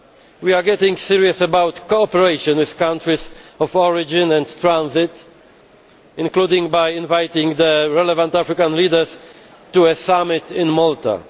act. We are getting serious about cooperation with countries of origin and transit, including by inviting the relevant African leaders to a summit in Malta.